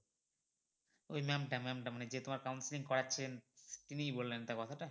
ওই ma'am টা ma'am টা মানে যে তোমার counceling করাচ্ছেন তিনিই বললেন তো কথা টা?